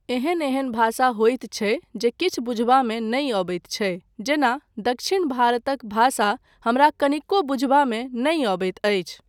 एहन एहन भाषा होइत छै जे किछु बुझबामे नहि अबैत छै, जेना दक्षिण भारतक भाषा हमरा कनिको बुझबामे नहि अबैत अछि।